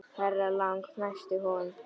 Herra Lang fnæsti hún.